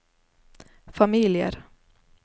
familier